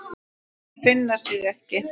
Þeir finna sig ekki.